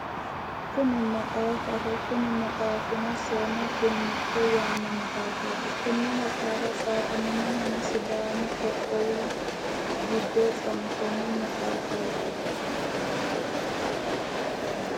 Kuni maxaafaho, Kuni maxaafino seemo gunnite yaano maxaafati, Kone maxaafa tsaafamnohuno sidaamu qoqqowu giddo tsaafamno maxaafaati